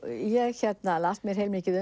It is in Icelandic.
ég las mér heilmikið